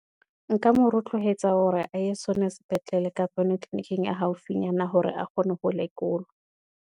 Nka moretloetsa hore a ye sona sepetlele, kapa yona tleliniking e haufinyana, hore a kgone ho lekolwa.